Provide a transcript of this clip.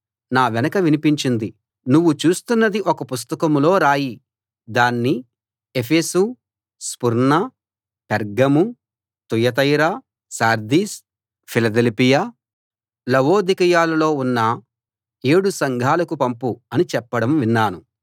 నా వెనక వినిపించింది నువ్వు చూస్తున్నది ఒక పుస్తకంలో రాయి దాన్ని Ephesus Smyrna Pergamum Thyatira Sardis Philadelphia లవొదికయలలో ఉన్న ఏడు సంఘాలకు పంపు అని చెప్పడం విన్నాను